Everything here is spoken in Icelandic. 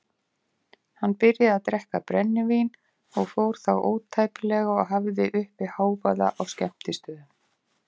Hann byrjaði að drekka brennivín og fór þá ótæpilega og hafði uppi hávaða á skemmtistöðum.